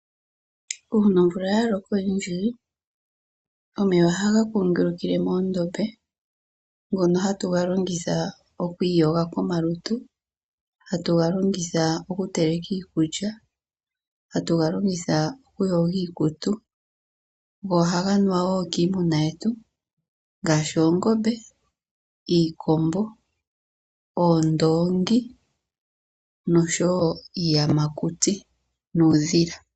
Ngele omvula oya loko oyindji omeya ohaga kungulukile moondombe ngono hatuga longitha okwiiyoga komalutu, hatuga longitha okuteleka iikulya, hatuga longitha oku yoga iikutu go ohaga nuwa wo kiimuna yetu ngaashi oongombe, iikombo, oondongi noshowo iiyamakuti nuudhila.